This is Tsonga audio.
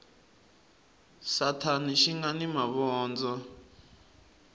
sathana xi nga ni mavondzo